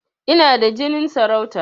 Ina da jinin sarauta